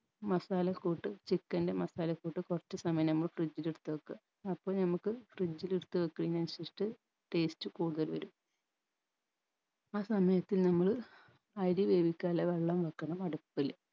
മസാല ക്കൂട്ട് chicken ൻറെ മസാലക്കൂട്ട് കൊർച്ച് സമയം നമ്മൾ fridge ൽ എടുത്ത് വെക്കുക അപ്പൊ ഞമ്മക്ക് fridge ല് എടുത്ത് വെക്കുന്നെയിന് അനുസരിചിറ്റ് taste കൂടുതൽ വരും ആ സമയത്ത് നമ്മള് അരി വേവിക്കാനുള്ള വെള്ളം വെക്കണം അടുപ്പില്